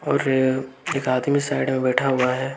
एक आदमी साइड में बैठा हुआ है।